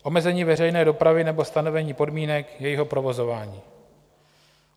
Omezení veřejné dopravy nebo stanovení podmínek jejího provozování.